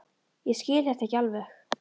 Ég skil þetta ekki alveg.